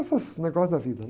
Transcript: Esses negócios da vida.